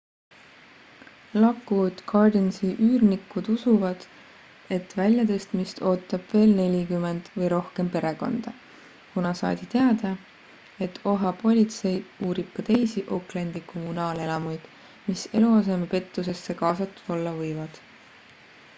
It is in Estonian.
lockwood gardensi üürnikud usuvad et väljatõstmist ootab veel 40 või rohkem perekonda kuna saadi teada et oha politsei uurib ka teisi oaklandi kommunaalelamuid mis eluasemepettusesse kaasatud olla võivad